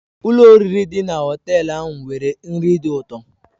Ụlọ oriri dị na họtel ahụ nwere nri dị ụtọ.